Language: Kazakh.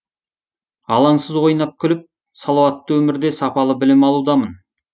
алаңсыз ойнап күліп салауатты өмірде сапалы білім алудамын